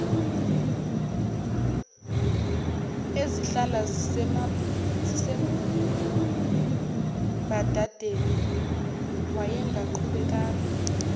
ezihlala zisembadadeni wayengaqhubekanga